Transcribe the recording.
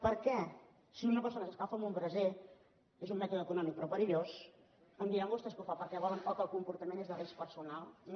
perquè si una persona s’escalfa amb un braser és un mètode econòmic però perillós em diran vostès que ho fa perquè vol o que el comportament és de risc personal no